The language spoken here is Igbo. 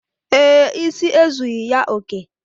Ee, isi ezughi ya oké.